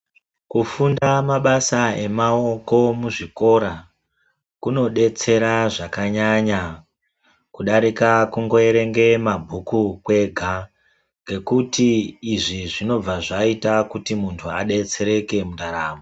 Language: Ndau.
Kufunda mabasa emaoko muzvikora kunodetsera zvakanyanya kudarika kungoerenga mabhuku kwega ngekuti izvi zvinobva zvaita kuti munhu adetsereke mundaramo.